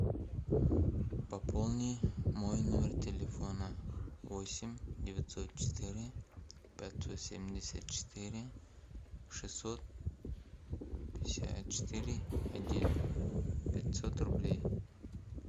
пополни мой номер телефона восемь девятьсот четыре пятьсот семьдесят четыре шестьсот пятьдесят четыре один пятьсот рублей